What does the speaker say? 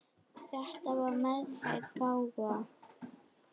Þetta var meðfædd gáfa.